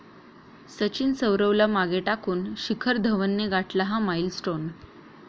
सचिन, सौरवला मागे टाकून शिखर धवनने गाठला 'हा' माईलस्टोन